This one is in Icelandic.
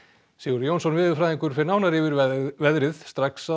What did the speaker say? Sigurður Jónsson veðurfræðingur fer nánar yfir veðrið strax að